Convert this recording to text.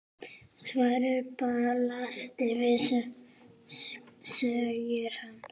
Svarið blasir við, segir hann.